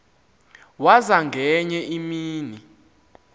waza ngenye imini